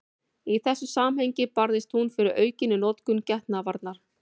Í þessu samhengi barðist hún fyrir aukinni notkun getnaðarvarna.